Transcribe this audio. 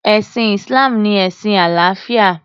Ẹ̀sìn Islam ni ẹ̀sìn àlàáfíà.